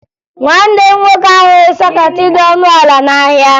Nwanne m nwoke ahụghị sọkeetị dị ọnụ ala n'ahịa